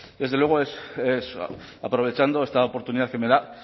desde luego es aprovechando esta oportunidad que me da